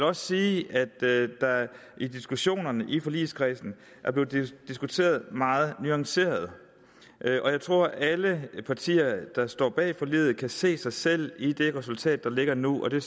også sige at der i diskussionerne i forligskredsen er blevet diskuteret meget nuanceret og jeg tror at alle partier der står bag forliget kan se sig selv i det resultat der ligger nu og det